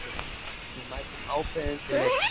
Við mætum ákveðin til leiks